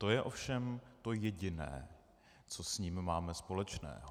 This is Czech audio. To je ovšem to jediné, co s ním máme společného.